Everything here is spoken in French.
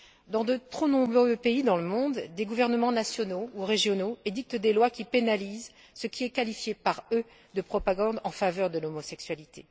Dans de trop nombreux pays dans le monde, des gouvernements nationaux ou régionaux édictent des lois qui pénalisent ce qui est qualifié, par eux, de propagande en faveur de l'homosexualité.